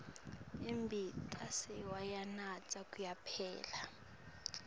imbita sewuyanatsa kuyaphela